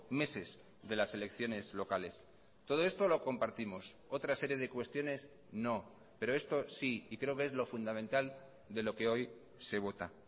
meses de las elecciones locales todo esto lo compartimos otra serie de cuestiones no pero esto sí y creo que es lo fundamental de lo que hoy se vota